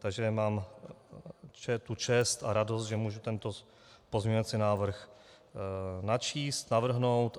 Takže mám tu čest a radost, že mohu tento pozměňovací návrh načíst, navrhnout.